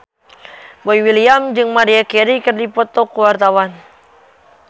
Boy William jeung Maria Carey keur dipoto ku wartawan